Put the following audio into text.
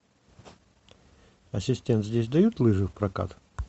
ассистент здесь дают лыжи в прокат